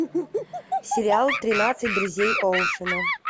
сериал тринадцать друзей оушена